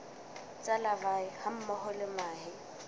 tsa larvae hammoho le mahe